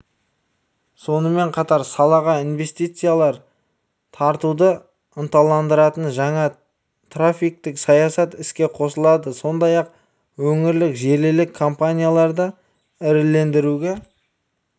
сонымен қатар салаға инвестициялар тартуды ынтыландыратын жаңа тарифтік саясат іске қосылады сондай-ақ өңірлік желілік компанияларды ірілендіруге